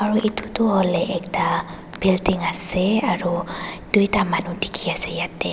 Aro etu tuh holeh ekta building ase aro duida manu dekhe ase yatheh.